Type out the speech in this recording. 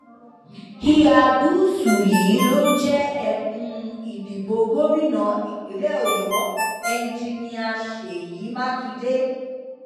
ìhà gúúsù yìí ló jẹ ẹkùn ìdìbò gómìnà ìpínlẹ ọyọ enjinnia ṣèyí mákindé